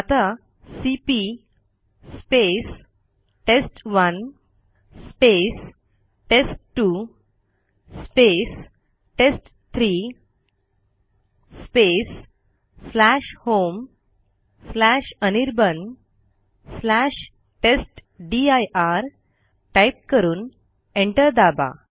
आता CP test one test two test three homeanirbantestdir type करून enter दाबा